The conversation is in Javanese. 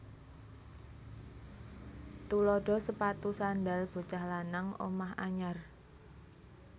Tuladha sepatu sandhal bocah lanang omah anyar